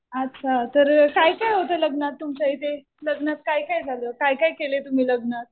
अच्छा. तर काय काय लग्नात तुमच्या इथे? लग्नात काय काय झालं? काय काय केलं तुम्ही लग्नात?